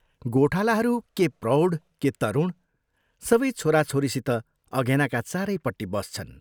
गोठालाहरू के प्रौढ के तरुण सबै छोराछोरीसित अघेनाका चारैपट्टि बस्छन्।